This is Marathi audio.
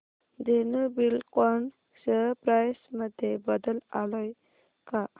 धेनु बिल्डकॉन शेअर प्राइस मध्ये बदल आलाय का